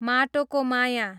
माटोको माया